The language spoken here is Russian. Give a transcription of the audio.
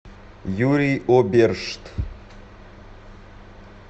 юрий обершт